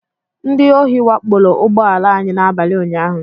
Ndị ohi wakporo ụgbọ ala anyị n'abalị unyaahụ